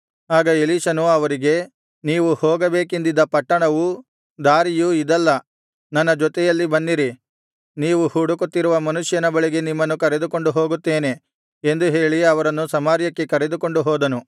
ಆಗ ಎಲೀಷನು ಅವರಿಗೆ ನೀವು ಹೋಗಬೇಕೆಂದಿದ್ದ ಪಟ್ಟಣವೂ ದಾರಿಯೂ ಇದಲ್ಲ ನನ್ನ ಜೊತೆಯಲ್ಲಿ ಬನ್ನಿರಿ ನೀವು ಹುಡುಕುತ್ತಿರುವ ಮನುಷ್ಯನ ಬಳಿಗೆ ನಿಮ್ಮನ್ನು ಕರೆದುಕೊಂಡು ಹೋಗುತ್ತೇನೆ ಎಂದು ಹೇಳಿ ಅವರನ್ನು ಸಮಾರ್ಯಕ್ಕೆ ಕರೆದುಕೊಂಡು ಹೋದನು